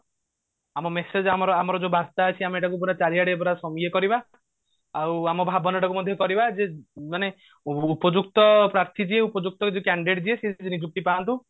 ଆମ message ଆମର ଆମର ଯୋଉ ବର୍ତା ଅଛି ଆମେ ତାକୁ ଆମେ ପୁରା ଚାରିଆଡେ ପୁରା ଇଏ କରିବା ଆଉ ଆମ ଭାବନା ଟାକୁ ମଧ୍ୟ କରିବା ଯେ ମାନେ ଉପଯୁକ୍ତ ପାର୍ଥୀ ଯିଏ ଉପଯୁକ୍ତ candidate ଯିଏ ସିଏ ନିଯୁକ୍ତି ପାଅନ୍ତୁ